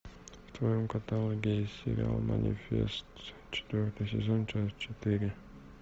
в твоем каталоге есть сериал манифест четвертый сезон часть четыре